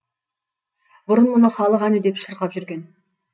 бұрын мұны халық әні деп шырқап жүрген